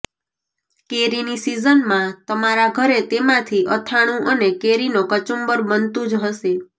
કેરીની સીઝનમાં તમારા ઘરે તેમાંથી અથાણું અને કેરીનો કચૂંબર બનતું જ હશે